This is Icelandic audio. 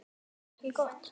Ekki gott.